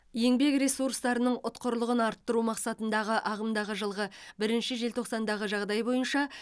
еңбек ресурстарының ұтқырлығын арттыру мақсатында ағымдағы жылғы бірінші желтоқсандағы жағдай бойынша